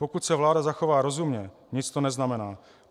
Pokud se vláda zachová rozumně, nic to neznamená.